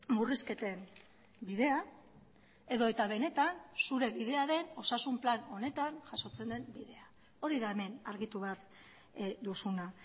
murrizketen bidea edota benetan zure bidea den osasun plan honetan jasotzen den bidea hori da hemen argitu behar duzuna